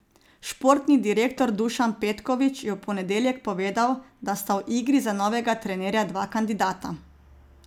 Športni direktor Dušan Petković je v ponedeljek povedal, da sta v igri za novega trenerja dva kandidata.